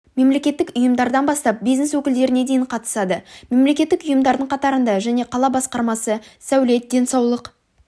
мемлекеттік ұйымдардан бастап бизнес өкілдеріне дейін қатысады мемлекеттік ұйымдардың қатарында және қала басқармасы сәулет денсаулық